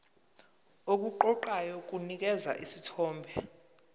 okuqoqayo kunikeza isithombe